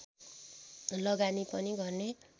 लगानी पनि गर्ने